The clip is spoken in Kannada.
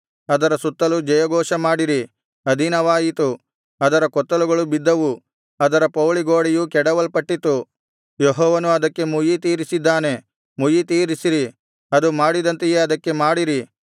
ಅದರ ಸುತ್ತಲು ಜಯಘೋಷಮಾಡಿರಿ ಅಧೀನವಾಯಿತು ಅದರ ಕೊತ್ತಲುಗಳು ಬಿದ್ದವು ಅದರ ಪೌಳಿಗೋಡೆಯು ಕೆಡವಲ್ಪಟ್ಟಿತು ಯೆಹೋವನು ಅದಕ್ಕೆ ಮುಯ್ಯಿತೀರಿಸಿದ್ದಾನೆ ಮುಯ್ಯಿತೀರಿಸಿರಿ ಅದು ಮಾಡಿದಂತೆಯೇ ಅದಕ್ಕೆ ಮಾಡಿರಿ